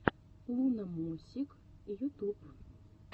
луномосик ютуб